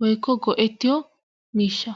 woykko go'ettiyo miishsha.